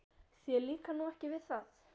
Þér líkar nú ekki við það?